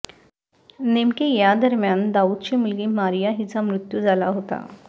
नेमके यादरम्यान दाऊदची मुलगी मारीया हिचा मृत्यू झाला होता